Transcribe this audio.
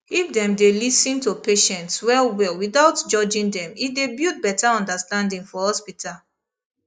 if dem dey lis ten to patients well well without judging them e dey build better understanding for hospital